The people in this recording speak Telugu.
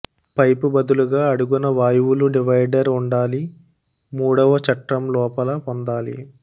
పైపు బదులుగా అడుగున వాయువులు డివైడర్ ఉండాలి మూడవ చట్రం లోపల పొందాలి